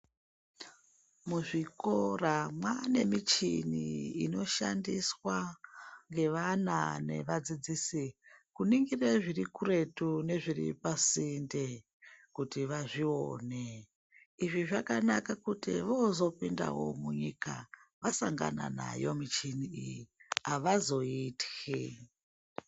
Muzvikora mwaane michini inoshandiswa ngevana nevadzidzisi kuningire zvirikuretu nepasinde kuti vazvione. Izvi zvakanaka kuti vozopinda munyika vasangana nayo michini iyi, avazoityi.